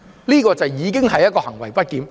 這個行為已經是行為不檢。